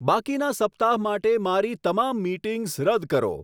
બાકીના સપ્તાહ માટે મારી તમામ મિટિંગ્સ રદ કરો